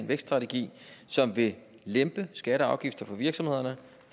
vækststrategi som vil lempe skatter og afgifter for virksomhederne